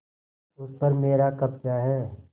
उस पर मेरा कब्जा है